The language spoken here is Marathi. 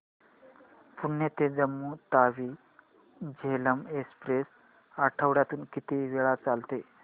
पुणे ते जम्मू तावी झेलम एक्स्प्रेस आठवड्यातून किती वेळा चालते